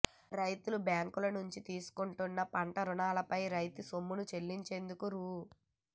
రైతులు బ్యాంకుల నుంచి తీసుకుంటున్న పంటరుణాలపై రాయితీ సొమ్ము చెల్లించేందుకు రూ